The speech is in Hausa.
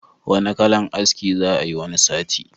Wanna kalan aski za'a yi wani sati?